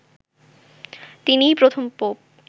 তিনিই প্রথম পোপ